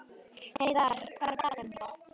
Heiðarr, hvað er á dagatalinu í dag?